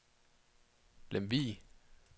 Lemvig